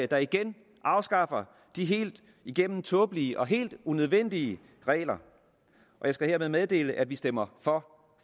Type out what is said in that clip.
der igen afskaffer de helt igennem tåbelige og helt unødvendige regler jeg skal hermed meddele at vi stemmer for